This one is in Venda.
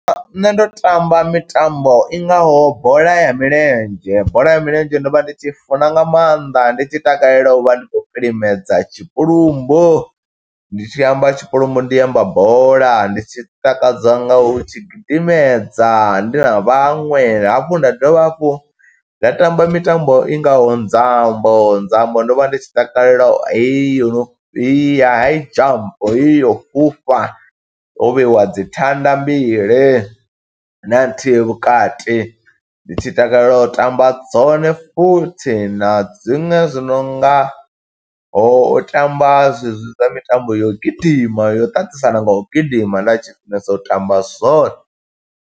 Nṋe ndo tamba mitambo i ngaho bola ya milenzhe, bola ya milenzhe ndo vha ndi tshi i funa nga maanḓa, ndi tshi takalela u vha ndi khou vhilimedza tshipulumbu. Ndi tshi amba tshipulumbu, ndi amba bola, ndi tshi takadza nga u tshi gidimedza, ndi na vhaṅwe. Hafhu nda dovha hafhu nda tamba mitambo i ngaho nzambo, nzambo ndo vha ndi tshi takalela heyo ya high jump. Heyo yo u fhufha, ho vheyiwa dzi thanda mbili, na nthihi vhukati, ndi tshi takalela u tamba dzone futhi, na dziṅwe zwi nongaho u tamba zwe zwi zwa mitambo ya u gidima yo ṱaṱisana nga u gidima, nda tshi funesa u tamba zwone.